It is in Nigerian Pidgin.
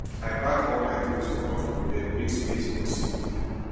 i pack all my clothes comot from bed make space for sleep